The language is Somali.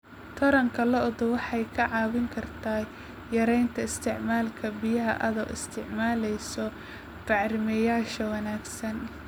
Taranka lo'du waxay kaa caawin kartaa yaraynta isticmaalka biyaha adoo isticmaalaya bacrimiyeyaasha wanaagsan.